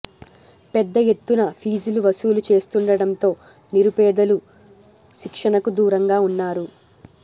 పెద్ద ఎత్తున ఫీజులు వసూలు చేస్తుండటంతో నిరుపే దలు శిక్షణకు దూరంగా ఉన్నారు